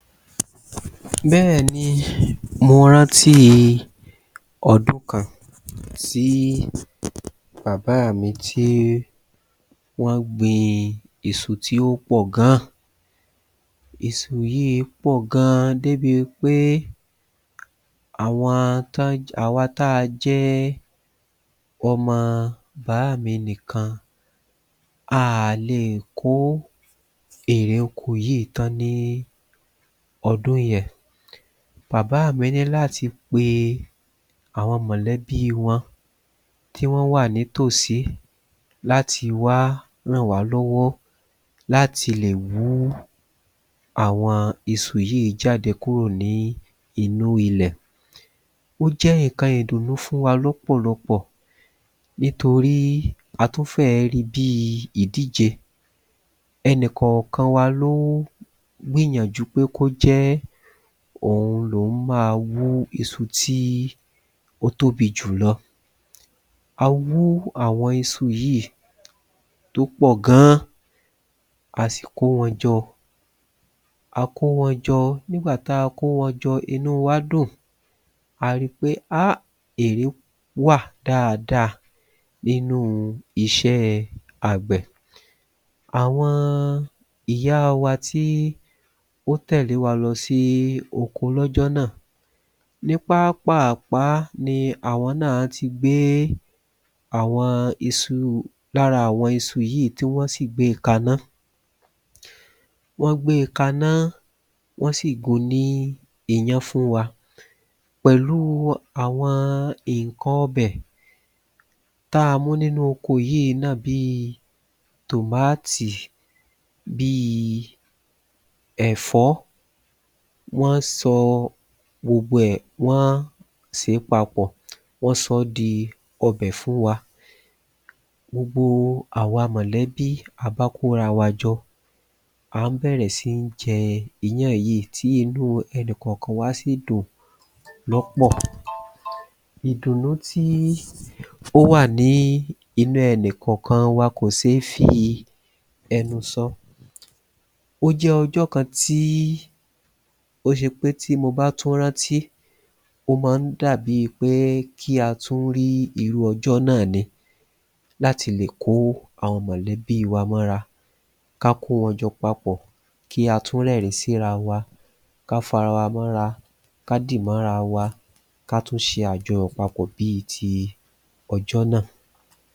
Bẹ́ẹ̀ni mo rántíi ọdún kan tí bàbáà mi tí wọ́n gbin èso tí ó pọ̀ ga èso yìí pọ̀ gan débi pé àwọn tó jẹ́ àwa tá a jẹ ọmọ bàámi nìkan a à le è kó èrè oko yìí tán ní ọdún yẹn bàbáà mi ní láti pe àwọn mọ̀lẹ́bí wọn tí wọ́n wà nítòsí láti wá rànwá lọ́wọ́ láti lè wú àwọn iṣu yìí jáde kúrò ní inú ilẹ̀ Ó jẹ́ nǹkan ìdùnnú fún wa lọ́pọ̀lọpọ̀ nítorí a tún fẹ́ẹ̀ ẹ́ ri bíi ìdíje ẹnìkàn kan wa ló ń gbìyànjú pé kó jẹ́ òun lòhún má a wú iṣu tí ó tóbi jùlọ A wú àwọn iṣu yìí tó pọ̀ gan a sì kó wọn jọ a kó wọn jọ nígbà tá a kó wọn jọ inúu wá dùn a ri pé ha èré wà dáadáa nínúu iṣẹ́ẹ àgbẹ̀ Àwọn ìyáa wa tí ó tẹ̀lé wa lọ sí oko lọ́jọ́ náà ní pápàpá ní àwọn náà ti gbé àwọn iṣu lára àwọn iṣu yìí tí wọ́n sì gbe kaná wọ́n gbé e kaná wọ́n sì gun ní iyán fún wa pẹ̀lúu àwọn nǹkan ọbẹ̀ tá a mú nínú oko yìí náà bíi tòmáàtì bíi ẹ̀fọ́ wọ́n sọ gbogbo ẹ̀ wọ́n sè é papọ̀ wọ́n sọ ọ́ di ọbẹ̀ fún wa gbogbo àwa mọ̀lẹ́bí a bá kó rawa jọ a ń bẹ̀rẹ̀ sín jẹ iyán yìí tí inú ẹnìkàn kan wá sì dùn lọ́pọ̀ Ìdùnnú tí ó wà ní inú ẹnìkàn kan wa kò ṣé fi ẹnu sọ ó jẹ́ ọjọ́ kan tí ó ṣe pé tí mo bá tún rántí ó ma ń dàbíi pé kí a tún rí irú ọjọ́ náà ni láti lè kó àwọn mọ̀lẹ́bíi wa mọ́ra ká kó wọn jọ papọ̀ kí a tún rẹ́rìn-ín sí rawa ká fa rawa mọ́ra ká dì mọ́ra wa ká tún ṣe àjọyọ̀ papọ̀ bíi ti ọjọ́ náà